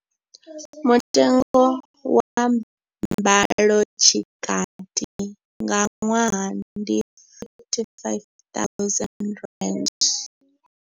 Mutengo wa mbalotshikati nga ṅwaha ndi R55 000.